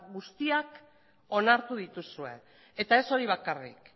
guztiak onartu dituzue eta ez hori bakarrik